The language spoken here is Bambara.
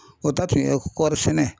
O ta tun ye kɔɔri sɛnɛ